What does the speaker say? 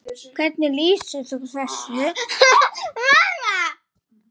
Hvernig lýsir þú þessu þema?